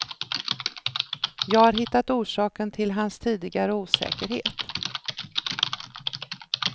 Jag har hittat orsaken till hans tidigare osäkerhet.